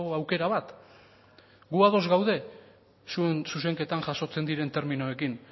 aukera bat gu ados gaude zuen zuzenketan jasotzen diren terminoekin